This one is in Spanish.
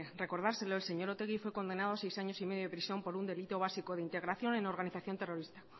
recordárselo el señor otegi fue condenado a seis años y medio de prisión por un delito básico de integración en organización terrorista